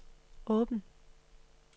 åben